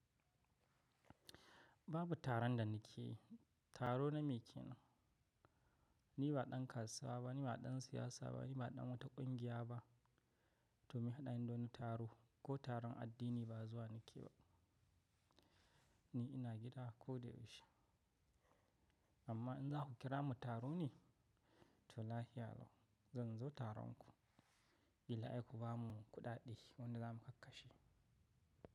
Babu taron da na ke yi, taro na me ke yi? Ni ba ɗan kasuwa ba, ni ba ɗan siyasa ba, ni ba ɗan wata ƙungiya ba, to me haɗin doni taro ko taron addini ba zuwa na ke ba. Ni ina gida ko da yaushe. Amma in za ku kira mu taro ne? To lahiya yau, zan zo taron ku, bila'ai ku ba mu kuɗaɗe wanda za mu kakka shi.